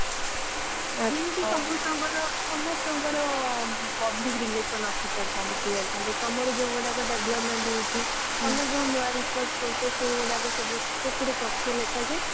ଆଚ୍ଛା ଯେମିତି ସମସ୍ତଙ୍କର ସମସ୍ତଙ୍କର public relation officer ଥାନ୍ତି PR ତମର ଯୋଊ ଗୁଡାକ development ହଉଛି ତମେ ଯୋଊ ନୂଆ research କରୁଛ ସେଇଗୁଡାକ ସବୁ ସେଥିରେ ତଥ୍ୟ ଲେଖାଯାଏ